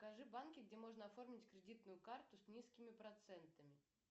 покажи банки где можно оформить кредитную карту с низкими процентами